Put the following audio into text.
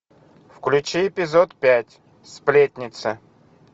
включи эпизод пять сплетница